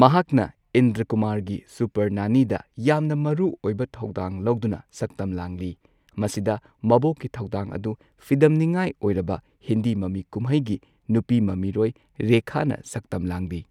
ꯃꯍꯥꯛꯅ ꯏꯟꯗ꯭ꯔꯀꯨꯃꯥꯔꯒꯤ ꯁꯨꯄꯔ ꯅꯥꯅꯤꯗ ꯌꯥꯝꯅ ꯃꯔꯨ ꯑꯣꯏꯕ ꯊꯧꯗꯥꯡ ꯂꯧꯗꯨꯅ ꯁꯛꯇꯝ ꯂꯥꯡꯂꯤ ꯃꯁꯤꯗ ꯃꯕꯣꯛꯀꯤ ꯊꯧꯗꯥꯡ ꯑꯗꯨ ꯐꯤꯗꯝꯅꯤꯉꯥꯏ ꯑꯣꯏꯔꯕ ꯍꯤꯟꯗꯤ ꯃꯃꯤ ꯀꯨꯝꯍꯩꯒꯤ ꯅꯨꯄꯤ ꯃꯃꯤꯔꯣꯏ ꯔꯦꯈꯥꯅ ꯁꯛꯇꯝ ꯂꯥꯡꯂꯤ꯫